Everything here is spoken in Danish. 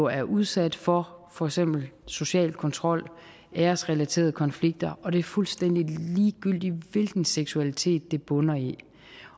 er udsat for for eksempel social kontrol og æresrelaterede konflikter og det er fuldstændig ligegyldigt hvilken seksualitet det bunder i